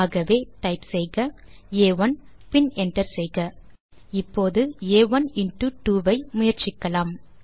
ஆகவே டைப் செய்க ஆ1 பின் என்டர் செய்க இப்போது ஆ1 இன்டோ 2 ஐ முயற்சிக்கலாம்